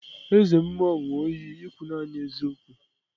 Eze mmuo ṅu iyi ikwu nani eziokwu.